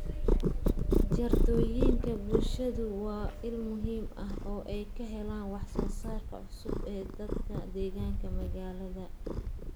Jardiinooyinka bulshadu waa il muhiim ah oo ay ka helaan wax soo saarka cusub ee dadka deggan magaalada.